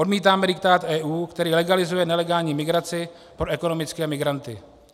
Odmítáme diktát EU, který legalizuje nelegální migraci pro ekonomické migranty.